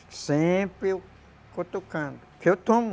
Sempre eu cutucando, que eu tomo.